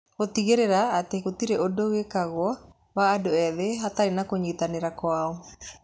Gũtigĩrĩra atĩ gũtirĩ ũndũ wĩkagwo wa ũndũ ethĩ hatarĩ na kũnyitanĩra kwao